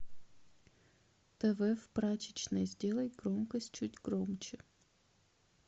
тв в прачечной сделай громкость чуть громче